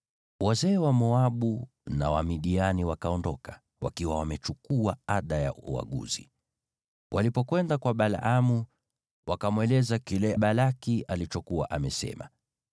Wazee wa Moabu na wa Midiani wakaondoka, wakiwa wamechukua ada ya uaguzi. Walipokwenda kwa Balaamu, wakamweleza kile Balaki alikuwa amesema.